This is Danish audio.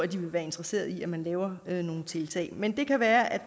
de være interesseret i at man laver nogle tiltag men det kan være at